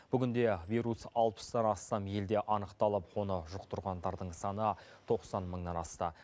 бүгінде вирус алпыстан астам елде анықталып оны жұқтырғандардың саны тоқсан мыңнан асты